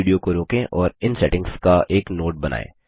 इस वीडियो को रोकें और इन सेटिंग्स का एक नोट बनाएँ